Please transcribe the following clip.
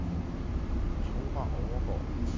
Thora Overgaard